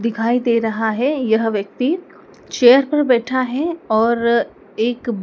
दिखाई दे रहा है यह व्यक्ति चेयर पर बैठा है और एक--